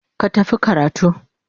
Ka tafi karatu.